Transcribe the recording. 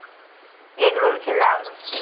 egg roll খেলাম